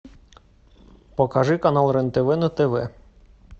покажи канал рен тв на тв